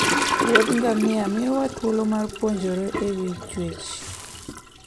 Wuodh ngamia miyowa thuolo mar puonjore e wi chwech.